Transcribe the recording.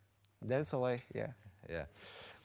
дәл солай иә иә